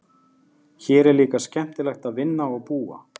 Hér er líka skemmtilegt að vinna og búa.